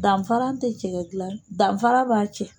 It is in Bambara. Danfaran tɛ cɛkɛ gilan danfara b'a